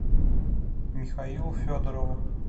михаилу федорову